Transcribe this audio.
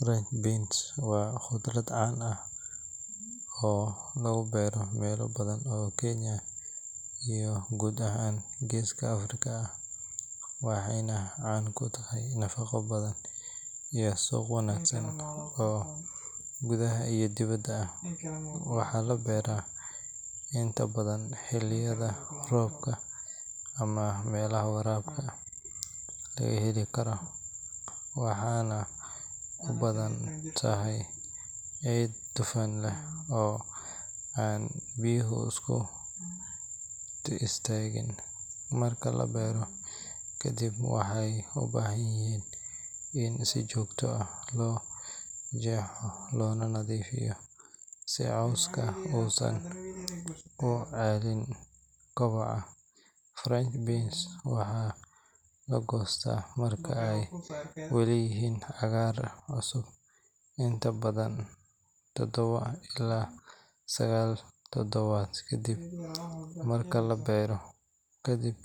French beans waa khudrad caan ah oo laga beero meelo badan oo Kenya iyo guud ahaan Geeska Afrika ah, waxayna caan ku tahay nafaqo badan iyo suuq wanaagsan oo gudaha iyo dibedda ah. Waxaa la beeraa inta badan xilliyada roobka ama meelaha waraabka heli kara, waxaana u baahan tahay ciid dufan leh oo aan biyuhu ku istaagin. Marka la beero kadib, waxay u baahan yihiin in si joogto ah loo jeexo loona nadiifiyo si cawska uusan u celin kobaca. French beans waxaa la goostaa marka ay weli yihiin cagaar cusub, inta badan todoba ilaa sagaal toddobaad kadib marka la beero. Ka dib